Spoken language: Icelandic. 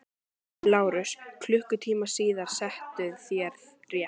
LÁRUS: Klukkutíma síðar settuð þér rétt.